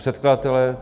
Předkladatelé...